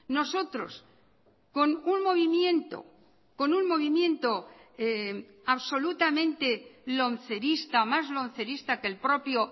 nosotros con un movimiento con un movimiento absolutamente lomcerista más lomcerista que el propio